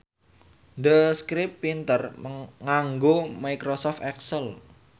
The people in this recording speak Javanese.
The Script pinter nganggo microsoft excel